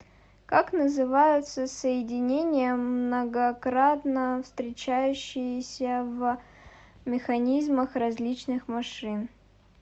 как называются соединения многократно встречающиеся в механизмах различных машин